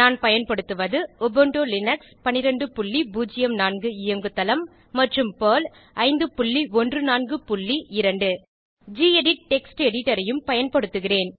நான் பயன்படுத்துவது Ubuntu Linux 1204 இயங்கு தளம் மற்றும் பெர்ல் 5142 கெடிட் டெக்ஸ்ட் எடிட்டர் ஐயும் பயன்படுத்துகிறேன்